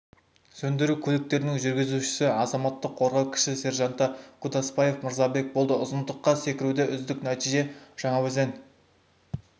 сөндіру көліктерінің жүргізушісі азаматтық қорғау кіші сержанты кудасбаев мырзабек болды ұзындыққа секіруде үздік нәтижені жаңаөзен